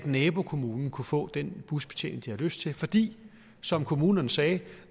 nabokommunen kunne få den busbetjening de havde lyst til fordi som kommunerne sagde